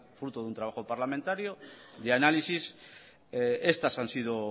fruto de un trabajo parlamentario de análisis estas han sido